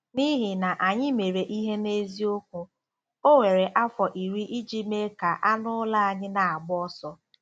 N'ihi na anyị mere ihe n'eziokwu, o were afọ iri iji mee ka anụ ụlọ anyị na-agba ọsọ.